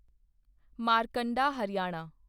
Markanda Haryana